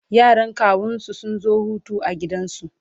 yaran kawunsu sun zo Hutu a gidansu